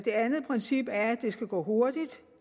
andet princip er at det skal gå hurtigt